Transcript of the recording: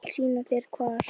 Ég skal sýna þér hvar.